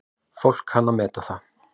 Fólk kann að meta það.